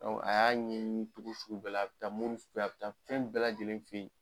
a y'a ɲɛni cogo sugu bɛɛ la, a bɛ taa moruw fɛ yen, a bɛ taa fɛn bɛɛ lajɛlen fɛ yen.